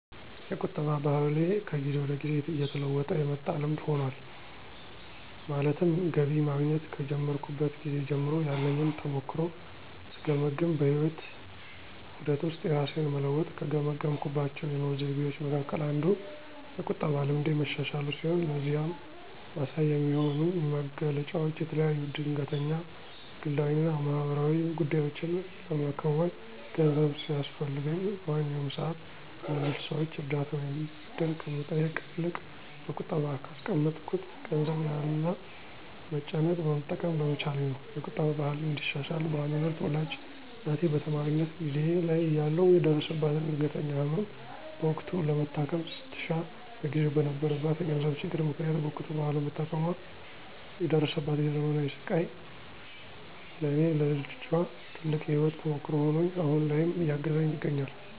የቁጠባ ባህሌ ከጊዜ ወደ ጊዜ እየተለወጠ የመጣ ልምድ ሆኗል። ማለትም ገቢ ማግኘት ከጀመርኩበት ጊዜ ጀምሮ ያለኝን ተሞክሮ ስገመግም በህይወት ዑደት ውስጥ የራሴን መለወጥ ከገመገምኩባቸው የኑሮ ዘይቤዎቸ መካከል አንዱ የቁጠባ ልምዴ መሻሻሉ ሲሆን ለዚህም ማሳያ የሚሆኑኝ መገለጫዎች የተለያዩ ድንገተኛ ግላዊ እና ማህበራዊ ጉዳዮችን ለመከወን ገንዘብ ሲያስፈልገኝ በማንኛውም ሰዓት ከሌሎች ሰዎች እርዳታ ወይም ብድር ከመጠየቅ ይልቅ በቁጠባ ካስቀመጥኩት ገንዘብ ያለ መጨነቅ መጠቀም በመቻሌ ነው። የቁጠባ ባህሌን እንዳሻሽል በዋናነት ወላጅ እናቴ በተማሪነት ጊዜየ ላይ እያለሁ የደረሰባትን ድንገተኛ ህመም በወቅቱ ለመታከም ስትሻ በጊዜው በነበረባት የገንዘብ ችግር ምክንያት በወቅቱ ባለመታከሟ የደረሰባት የዘመናት ስቃይ ለኔ ለልጇ ትልቅ የህይወት ተሞክሮ ሆኖኝ አሁን ላይም እያገዘኝ ይገኛል።